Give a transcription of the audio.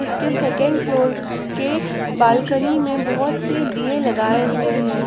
उसके second floor के balcony में बहुत से दिए लगाए हुए हैं।